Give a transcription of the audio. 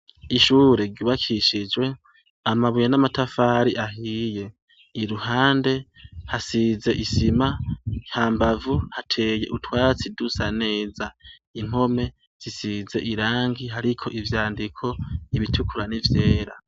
ishure ryubakishijwe amabuye n'amatafari ahiye iruhande hasize isima mbavu hateye utwatsi dusa neza impome zisize irangi ariko ibyandiko ibitukura nivyera